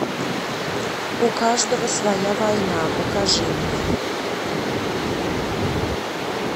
у каждого своя война покажи мне